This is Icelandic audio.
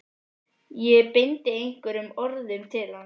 Ég beindi einhverjum orðum til hans.